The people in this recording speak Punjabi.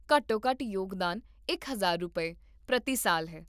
ਘੱਟੋ ਘੱਟ ਯੋਗਦਾਨ ਇਕ ਹਜ਼ਾਰ ਰੁਪਏ, ਪ੍ਰਤੀ ਸਾਲ ਹੈ